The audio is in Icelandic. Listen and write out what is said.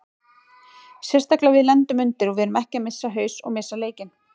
Sérstaklega við lendum undir og við erum ekki að missa haus og missa leikinn.